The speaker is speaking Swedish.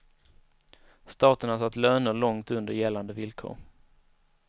Staten har satt löner långt under gällande villkor.